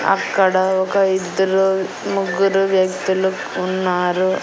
అక్కడ ఒక ఇద్దరు ముగ్గురు వ్యక్తులు ఉన్నారు.